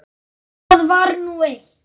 Það var nú eitt.